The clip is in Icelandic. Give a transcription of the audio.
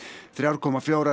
þrjár komma fjórar